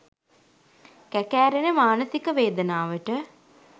කැකෑරෙන මානසික වේදනාවට